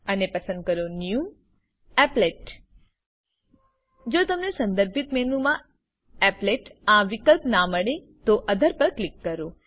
અને પસંદ કરો ન્યૂ એપ્લેટ જો તમને સંદરભીત મેનૂમા એપ્લેટ આ વિકલ્પ ના મળે તો ઓથર પર ક્લિક કરો